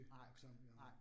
Nej, nej